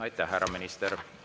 Aitäh, härra minister!